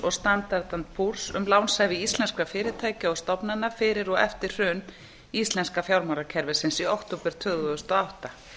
og standard and poors um lánshæfi íslenskra fyrirtækja og stofnana fyrir og eftir hrun íslenska fjármálakerfisins í október tvö þúsund og átta